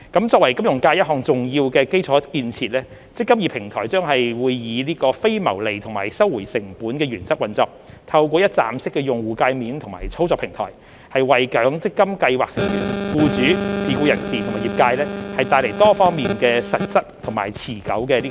作為金融界一項重要的基礎建設，"積金易"平台將以非牟利及收回成本的原則運作，透過"一站式"的用戶介面及操作平台，為強積金計劃成員、僱主、自僱人士及業界帶來多方面實質及持久的裨益。